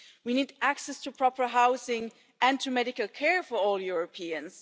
We need access to proper housing and to medical care for all Europeans.